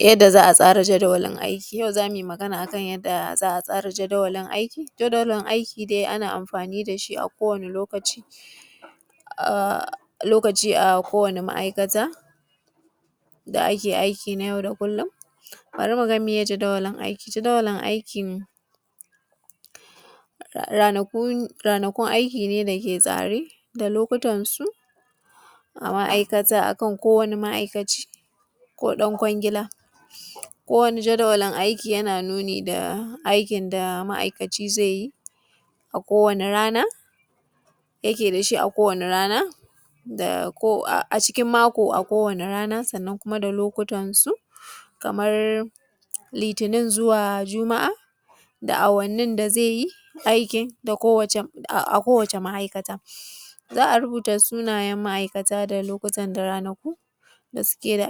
yadda za a tsara jadawalin aiki yau za mu yi magana yadda za a tsara jadawalin aiki jadawalin aiki dai ana amfani da shi a kowane lokaci a kowane ma’aikata da ake aiki na yau da kullum bari mu gani miye jadawalin aiki jadawalin aikin ranakun aiki ne da yake tsare da lokutan su a ma’aikata a kan kowani ma’aikaci ko don kwangila ko wani jadawalin aiki yana nuni da aikin da ma’aikaci zai yi a kowani rana yake da shi a kowane rana a cikin mako a kowane rana sannan kuma da lokutan su kamar litinin zuwa juma’a da awannin da zai yi aikin a kowace ma’aikata za a rubuta suna; yen ma’aikata da lokutan da ranaku da su ke da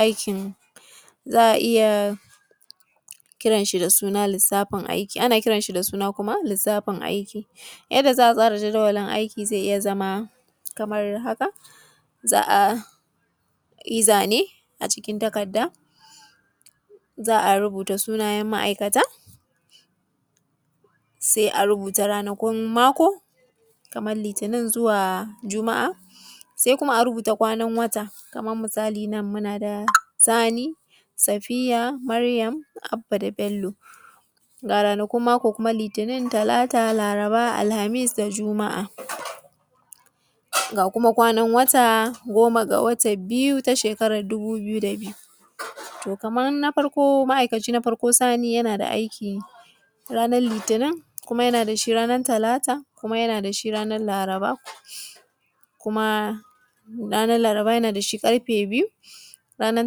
aikin za a iya kiran shi da suna lissafin aiki ana kiran shi da suna kuma lissafin aiki yadda za a tsara jadawalin aiki zai iya zama kamar haka za a yi zane a cikin takarda za a rubuta sunayen ma’aikata sai a rubuta ranakun mako kaman litinin zuwa juma’a sai kuma a rubuta kwanan wata kaman misali nan muna da sani safiya maryam abba da bello ga ranakun mako litinin talata laraba alhamis da juma’a ga kuma kwanan wata goma ga watan biyu ta shekaran dubu biyu da biyu to kaman na farko ma’aikacin na farko sani yana da aiki ranar litinin kuma yana da shi ranar talata kuma yana da shi ranar laraba kuma ranar laraba yana dashi ƙarfe biyu ranar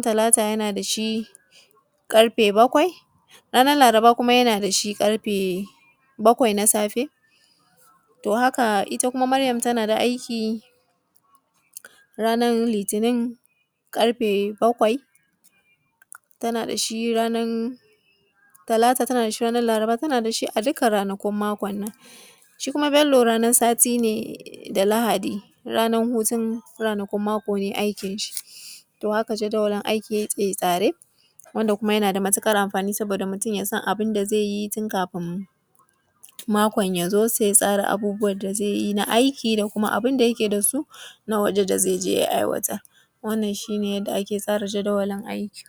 talata yana da shi ƙarfe bakwai kuma ranar laraba yana da shi ƙarfe bakwai na safe to haka ita kuma maryam tana da aiki ranar litinin ƙarfe bakwai tana da shi ranar talata tana da shi laraba tana da shi a dukkan ranakun makon nan shi kuma bello ranar sati ne da lahadi ranar hutun ranakun mako ba aikin shi to haka jadawalin aiki ya ke tsare wanda kuma yana da matuƙar amfani saboda mutum ya san abun da zai yi tun kafin makon ya zo sai ya tsara abubbuwan da zaI yi na aiki da kuma abun da yake da su na waje da zai je ya aiwatar wannan shi ne yadda ake tsara jadawalin aiki